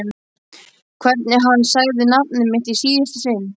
Hvernig hann sagði nafnið mitt í síðasta sinn.